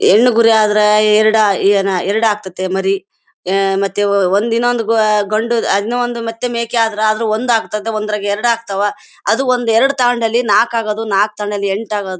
ಹೆಣ್ಣು ಕುರಿ ಆದ್ರೆ ಎರಡ ಎರಡ ಹಾಕ್ತತ್ತೆ ಮರಿ. ಅಹ್ ಮತ್ತೆ ಒಂದ್ ಇನ್ನೊಂದ್ ಗಂಡು ಅದ್ನು ಮತ್ತು ಒಂದು ಮೇಕೆ ಆದ್ರೆ ಅದ್ರಾಗ ಒಂದ್ ಆಗ್ತತ್ತೆ ಒಂದರಲ್ಲಿ ಎರಡು ಆಗ್ತಾವೆ. ಅದು ಒಂದ್ ಎರಡ್ ತಗೊಂಡಲ್ಲಿ ನಾಕ್ ಆಗೋದು ನಾಕ್ ತಗೊಂಡಲ್ಲಿ ಎಂಟ್ ಆಗೋದು.